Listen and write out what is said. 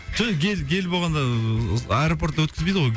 жоқ енді гель гель болғанда ыыы аэропортта өткізбейді гой